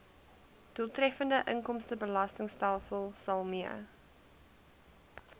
doeltreffende inkomstebelastingstelsel mee